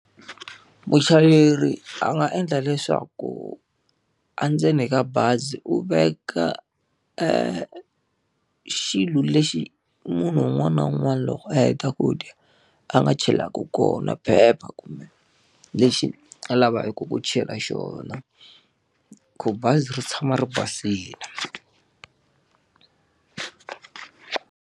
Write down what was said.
Muchayeri a nga endla leswaku endzeni ka bazi u veka e xilo lexi munhu un'wana na un'wana loko a heta ku dya a nga chelaka kona phepha kumbe lexi a lavaku ku chela xona, ku bazi ri tshama ri basile.